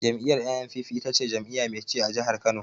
Jam'iyyar NNPP ita ce jam'iyya mai ci a jihar Kano.